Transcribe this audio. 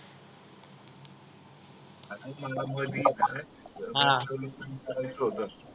आता मला मध्ये सर्व रिझर्वेशन करायचं होतं